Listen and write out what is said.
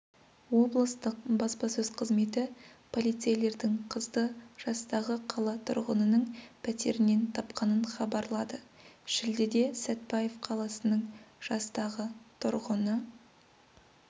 облыстық баспасөз қызметі полицейлердің қызды жастағы қала тұрғынының пәтерінен тапқанын хабарлады шілдеде сәтбаев қаласының жастағы тұрғыны